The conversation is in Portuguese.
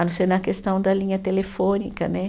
A não ser na questão da linha telefônica, né?